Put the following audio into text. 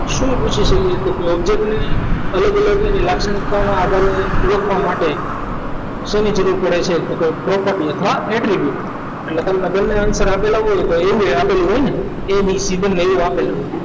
શું પૂછી શકે તો કે object ને લાક્ષણિકતામાં આધારે લખવા માટે શેની જરૂર પડે છે તો કે property અથવા એન્ટ્રી વ્યુ એટલે લખાણમાં બંને આવી શકે આપેલા હોય તો અહીંયા આપેલ હોય ને abc બનાવેલું હોય બંને આપેલું હોય